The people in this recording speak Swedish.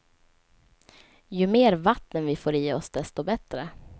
Ju mer vatten vi får i oss, desto bättre.